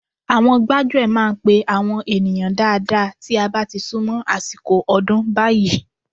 Àwọn gbájúẹ̀ máa ń pe àwọn ènìyàn dáadáa tí a bá ti sún mọ́ àsìkò ọdún báyìí